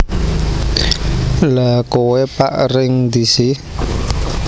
Lha kowe pak ring ndi si